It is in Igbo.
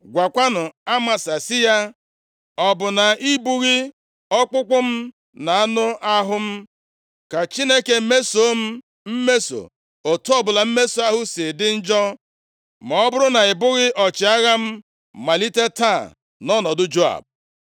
Gwakwanụ Amasa sị ya, ‘Ọ bụ na ị bụghị ọkpụkpụ m na anụ ahụ m? Ka Chineke mesoo m mmeso otu ọbụla mmeso ahụ si dị njọ, ma ọ bụrụ na ị bụghị ọchịagha m malite taa nʼọnọdụ Joab.’ ”